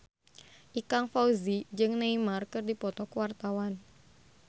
Ikang Fawzi jeung Neymar keur dipoto ku wartawan